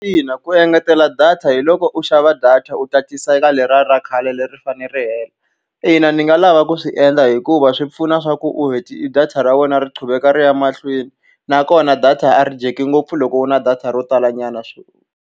Ina ku engetela data hi loko u xava data u tatisa eka leriya ra khale leri a ri fanele ri hela. Ina ni nga lava ku swi endla hikuva swi pfuna leswaku u data ra wena ri quveka ri ya mahlweni. Nakona data a ri dyeki ngopfu loko u ri na data ro talanyana .